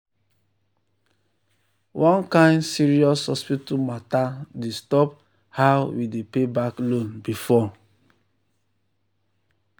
one kain serious hospital matter disturb how we dey pay back loan before.